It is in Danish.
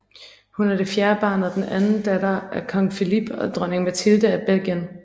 Hun er det fjerde barn og den anden datter af Kong Philippe og Dronning Mathilde af Belgien